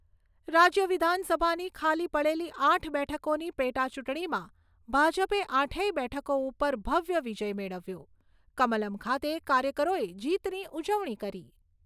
રાજ્ય વિધાનસભાની ખાલી પડેલી આઠ બેઠકોની પેટાચૂંટણીમાં ભાજપે આઠેય બેઠકો ઉપર ભવ્ય વિજય મેળવ્યો. કમલમ્ ખાતે કાર્યકરોએ જીતની ઉજવણી કરી.